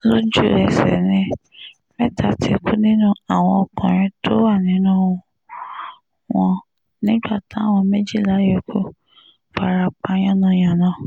lójú-ẹsẹ̀ ni mẹ́ta ti kú nínú àwọn ọkùnrin tó wà nínú wọn nígbà táwọn méjìlá yòókù fara pa yánnayànna